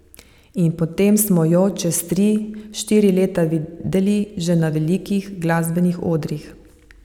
In potem smo jo čez tri, štiri leta videli že na velikih glasbenih odrih.